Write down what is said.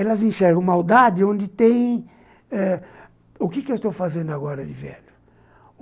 Elas enxergam maldade onde tem... O que eu estou fazendo agora de velho?